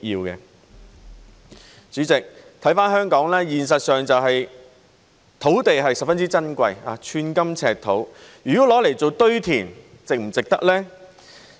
代理主席，看回香港，現實是土地十分珍貴，寸金尺土，如果用作堆填，值不值得呢？